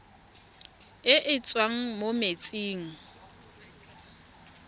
e e tswang mo metsing